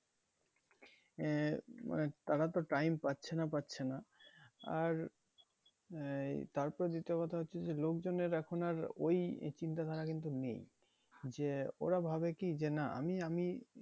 আহ তারা তো time পাচ্ছে না পাচ্ছে না আর এই তার ওপরে দ্বিতীয় কথা হচ্ছে যে লোকজনের এখন আর ওই চিন্তা ধারা কিন্তু নেই। যে ওরা ভাবে কি যে না আমি, আমি